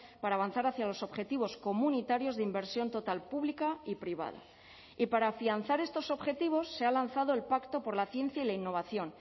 para avanzar hacia los objetivos comunitarios de inversión total pública y privada y para afianzar estos objetivos se ha lanzado el pacto por la ciencia y la innovación